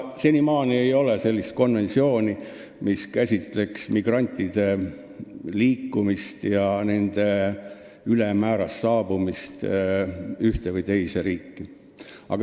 Senimaani ei ole sellist konventsiooni, mis käsitleks migrantide liikumist ja nende ülemäärast saabumist ühte või teise riiki.